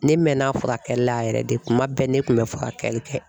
Ne mɛnna furakɛli la yɛrɛ de, kuma bɛɛ ne kun bɛ furakɛli kɛ.